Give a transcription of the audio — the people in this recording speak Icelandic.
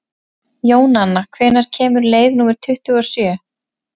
Jónanna, hvenær kemur leið númer tuttugu og sjö?